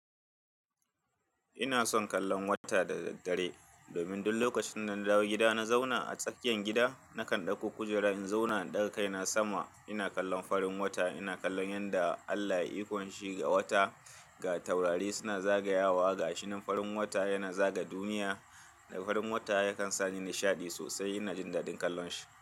Ina son kallon wata da daddare domin duk lokacin da na dawo gida na zauna a tsakiyar gida nakan dauko kujera in zauna ɗaga kai na sama ina kallon farin wata ina kallon yadda Allah ya yi ikon shi ga wata ga taurari suna zagayawa ga shinin farin wata yana zaga duniya da farin wata yakan sani nishaɗi sosai ina jin daɗin kallon shi.